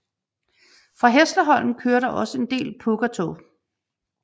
Fra Hässleholm kører der også en del Pågatåg